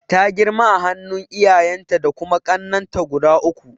Ta girma a hannun iyayenta da kuma kannenta guda uku.